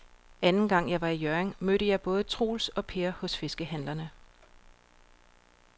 Anden gang jeg var i Hjørring, mødte jeg både Troels og Per hos fiskehandlerne.